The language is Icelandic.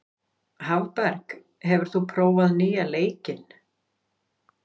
Hafberg, hefur þú prófað nýja leikinn?